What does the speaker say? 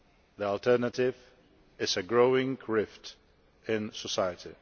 The alternative is a growing rift in society.